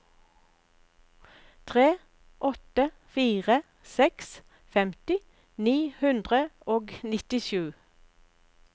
tre åtte fire seks femti ni hundre og nittisju